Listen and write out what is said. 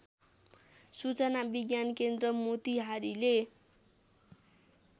सूचना विज्ञानकेन्द्र मोतिहारीले